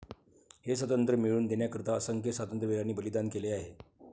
हे स्वातंत्र्य मिळवून देण्याकरीता असंख्य स्वातंत्र्यवीरांनी बलिदान केले आहे.